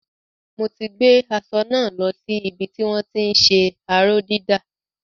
Mo ti gbé aṣọ náà lo sí ibi tí wọ́n ti ń ṣe aró-dídà.